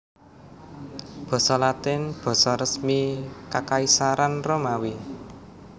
Basa Latin basa resmi Kakaisaran Romawi